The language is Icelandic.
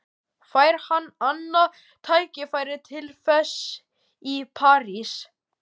Fær hann annað tækifæri til þess í París?